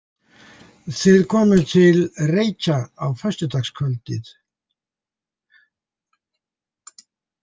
Þið komuð til Reykja á föstudagskvöldið?